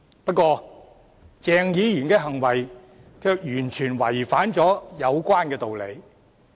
不過，鄭議員的行為卻完全違反有關道理。